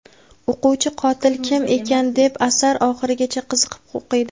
O‘quvchi qotil kim ekan deb asar oxirigacha qiziqib o‘qiydi.